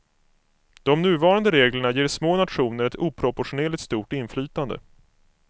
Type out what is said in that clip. De nuvarande reglerna ger små nationer ett oproportionerligt stort inflytande.